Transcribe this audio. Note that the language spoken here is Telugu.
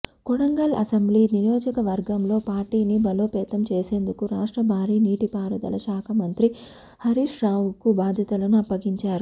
కొడంగల్ అసెంబ్లీ నియోజకవర్గంలో పార్టీని బలోపేతం చేసేందుకు రాష్ట్ర బారీ నీటి పారుదల శాఖ మంత్రి హరీష్రావుకు బాధ్యతలను అప్పగించారు